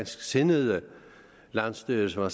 sindede landsstyre som er